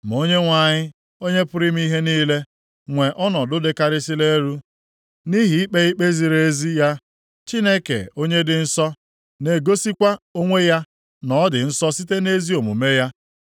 Ma Onyenwe anyị, Onye pụrụ ime ihe niile, nwee ọnọdụ dịkarịsịrị elu, nʼihi ikpe ikpe ziri ezi ya, Chineke onye dị nsọ na-egosikwa onwe ya na ọ dị nsọ site nʼezi omume ya.